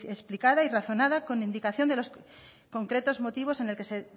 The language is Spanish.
explicada y razonada con indicación de los concretos motivos en el que se